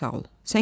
Çox sağ ol.